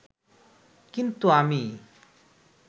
কিন্তু আমি